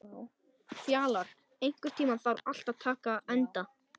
Fjalar, einhvern tímann þarf allt að taka enda.